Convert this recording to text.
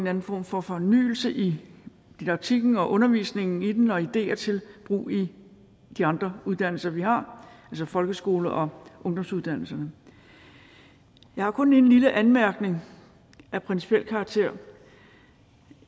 anden form for fornyelse i didaktikken og undervisningen i den og ideer til brug i de andre uddannelser vi har altså folkeskolen og ungdomsuddannelserne jeg har kun en lille anmærkning af principiel karakter